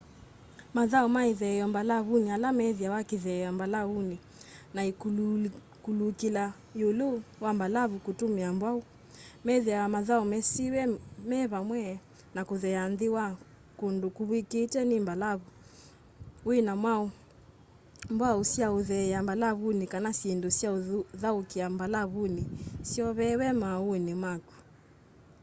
mathau ma itheeo mbalavuni ala methiawa kitheea mbalauni na kuulukila iulu wa mbalavu kutumia mbwau methiawa mathau mesiiwe me vamwe na kutheea nthi wa kundu kuvw'ikitwe ni mbalavu wina mwau sya utheea mbalavuni kana syindu syauthaukia mbalavuni syoveewe mauuni maku